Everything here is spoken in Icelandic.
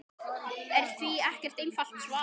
er því ekkert einfalt svar.